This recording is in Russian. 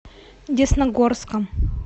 десногорском